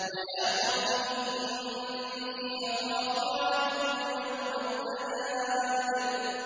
وَيَا قَوْمِ إِنِّي أَخَافُ عَلَيْكُمْ يَوْمَ التَّنَادِ